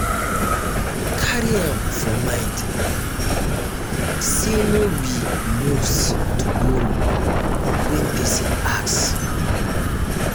carry am for um mind sey no be must to borrow when person ask um